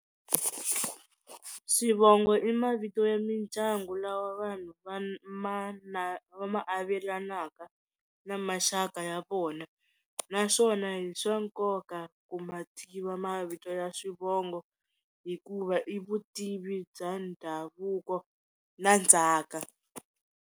Swivongo i mavito ya mindyangu lawa vanhu va ma na va ma avelanaka na maxaka ya vona naswona i swa nkoka ku ma tiva mavito ya swivongo hikuva i vutivi bya ndhavuko na ndzhaka.